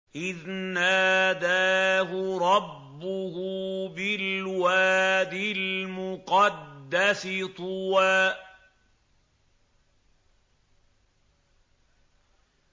إِذْ نَادَاهُ رَبُّهُ بِالْوَادِ الْمُقَدَّسِ طُوًى